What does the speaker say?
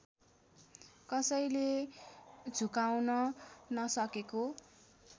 कसैले झुकाउन नसकेको